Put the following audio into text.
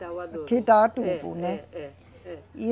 Dá o adubo. Que dá o adubo, né. É, é, é, é